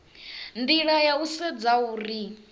nila ya u sedza uri